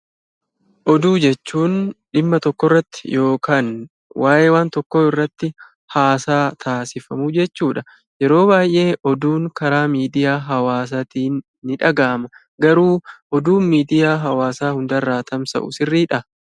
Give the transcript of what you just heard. Oduu jechuun dhimma tokkorratti yookaan waa'ee waan tokkoo irratti haasaa taasifamu jechuudha. Yeroo baay'ee oduun karaa Miidiyaa hawaasaatiin ni dhagahama. Garuu oduun miidiyaa hawaasaa hundarraa tamsa'u sirriidhaa?